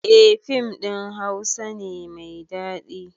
Eh fim ɗin hausa ne mai daɗi